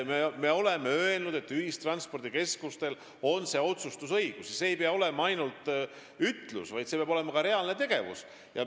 Me oleme öelnud, et ühistranspordikeskustel on otsustusõigus, ja see ei pea olema ainult ütlus, vaid see peab olema ka reaalne tegevus.